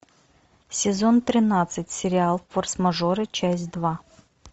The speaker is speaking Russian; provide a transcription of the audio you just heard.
сезон тринадцать сериал форс мажоры часть два